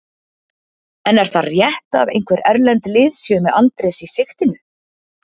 En er það rétt að einhver erlend lið séu með Andrés í sigtinu?